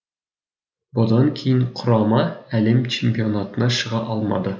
бұдан кейін құрама әлем чемпионатына шыға алмады